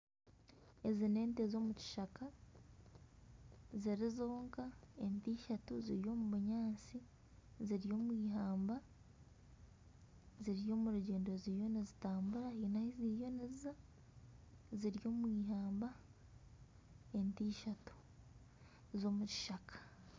Ezi ni ente z'omukishaka ziri zonka. Ente ishatu ziri omu bunyaatsi ziri omu ihamba ziri omu rugyendo ziriyo nizitambura haine ahu ziriyo niziza. Ziri omu ihamba ente ishatu z'omukishaka